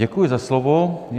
Děkuji za slovo.